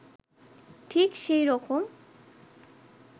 ঠিক সেই রকম